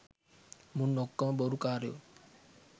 මුන් ඔක්කොම බොරු කාරයෝ